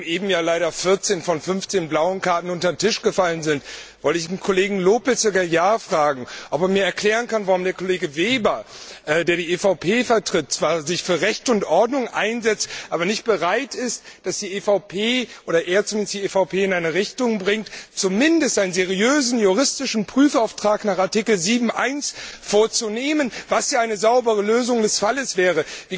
Nachdem eben ja leider 14 von 15 blauen Karten unter den Tisch gefallen sind, wollte ich den Kollegen López Aguilar fragen, ob er mir erklären kann, warum der Kollege Weber, der die EVP vertritt, sich für Recht und Ordnung einsetzt, aber nicht bereit ist, dass die EVP oder er zumindest die EVP in eine Richtung bringt, zumindest einen seriösen juristischen Prüfauftrag nach Artikel 7 Absatz 1 vorzunehmen, was ja eine saubere Lösung des Falles wäre.